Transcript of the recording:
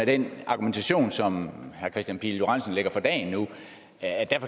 den argumentation som herre kristian pihl lorentzen lægger for dagen nu